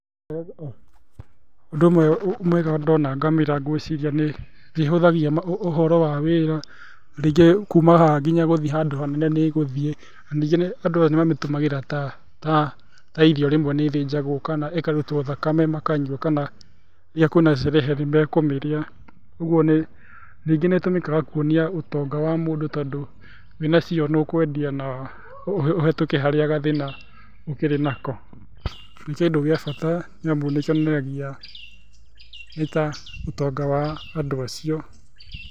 Ũndũ ũmwe mwega ndona ngamĩra ngwĩcĩrĩa nĩ ĩhũthagĩa ũhoro wa wĩra rĩngĩ kũma haha ngĩnya gũthĩĩ handũ hanene nĩ ĩgũthĩĩ nĩngíĩ andũ aya nĩmamĩtũmagĩra ta ĩrĩo rĩmwe nĩĩthĩnjagwo kana ĩkarũtwo thakame makanyũa kana rĩrĩa kwina cerehe nĩmĩkũmĩrĩa ũgũo nĩ, nĩngĩ nĩtũmĩkaga kũonĩa ũtonga wa mũndũ tondũ wĩ nacĩo nĩ ũkwendĩa na ũhĩtũke harĩa gathĩna ũkĩrĩ nako. Nĩ kĩndũ gĩa bata nĩamũ nĩkĩonanagĩa nĩta ũtonga wa andũ acĩo.